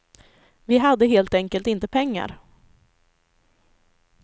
Vi hade helt enkelt inte pengar.